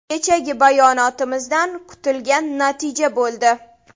Kechagi bayonotimizdan kutilgan natija bo‘ldi.